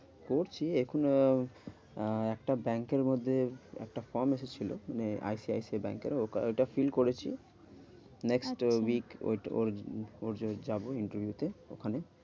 করছি এখন আহ আহ একটা বাঙ্কের মধ্যে একটা form এসেছিলো মানে I C I C I বাঙ্কের। ওইটা fill করেছি next week আচ্ছা ওর ওর ওর যাবো interview তে ওখানে।